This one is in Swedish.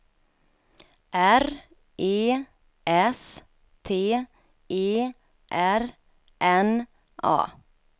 R E S T E R N A